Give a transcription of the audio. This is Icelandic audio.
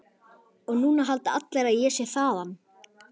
Og núna halda allir að ég sé þaðan.